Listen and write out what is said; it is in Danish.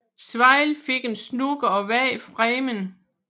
Swail fik en snooker og vandt framen